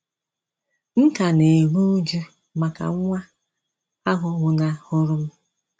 M ka na - eru újú maka nwa ahụ nwụnahụrụ m.